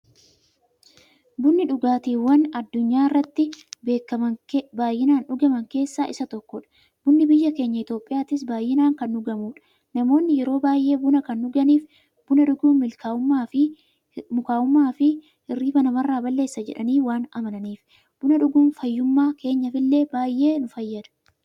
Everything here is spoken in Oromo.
Bunni dhugaatiiwwan addunyaarratti baay'inaan dhugaman keessaa isa tokkodha. Bunni biyya keenya Itiyoophiyaattis baay'inaan kan dhugamuudha. Namoonni yeroo baay'ee buna kan dhuganiif, buna dhuguun mukaa'ummaafi hirriiba namarraa balleessa jedhanii waan amananiifi. Buna dhuguun fayyummaa keenyaf illee baay'ee nu fayyada.